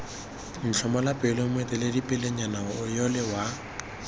ntlhomola pelo moeteledipelenyana yole wa